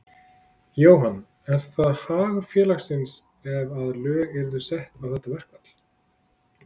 Jóhann: Er það hagur félagsins ef að lög yrðu sett á þetta verkfall?